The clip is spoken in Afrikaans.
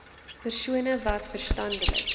persone wat verstandelik